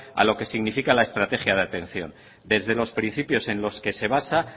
a lo que significa la estrategia de atención desde los principios en los que se basa